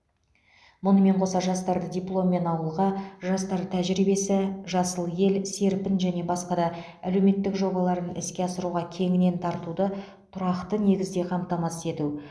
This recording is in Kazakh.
мұнымен қоса жастарды дипломмен ауылға жастар тәжірибесі жасыл ел серпін және басқа да әлеуметтік жобаларын іске асыруға кеңінен тартуды тұрақты негізде қамтамасыз ету